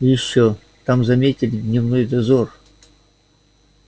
и ещё там заметили дневной дозор